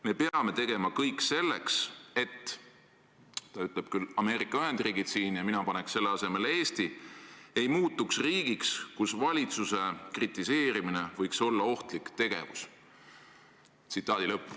Me peame tegema kõik selleks, et – ta ütleb küll Ameerika Ühendriigid, aga mina paneks selle asemele Eesti – ei muutuks riigiks, kus valitsuse kritiseerimine võiks olla ohtlik tegevus.